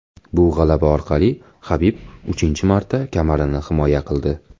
Bu g‘alaba orqali Habib uchinchi marta kamarini himoya qildi.